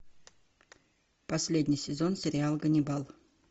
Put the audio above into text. последний сезон сериал ганнибал